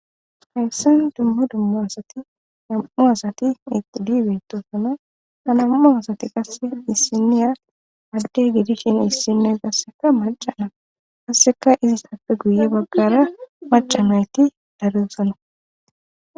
hayssen dumma dumma asati nam7u asati ixidibetosona anammu asati qasse dhissiniya adde gidishin hissinoy qasseka macana kasseka izis tappe guye baggara macamayti daruusana